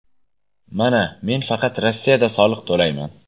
Mana men faqat Rossiyada soliq to‘layman.